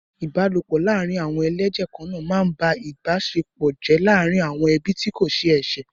Ìbálòpọ̀ laarin awon eleje kanaa máa ń ba ìbáṣepọ̀ jẹ́ láàárín àwọn ẹbí tí kò ṣe é ṣe.